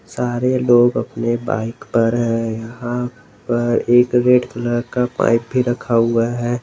सारे लोग अपने बाइक पर है यहां पर एक रेड कलर का पाइप भी रखा हुआ है।